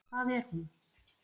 Hvað er hún?